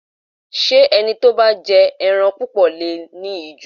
Ṣé ẹni tó bá ń jẹ ẹran púpọ̀ le è ní ìju?